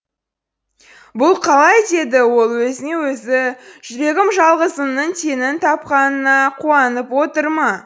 бұл қалай деді ол өзіне өзі жүрегім жалғызымның теңін тапқанына қуанып отыр ма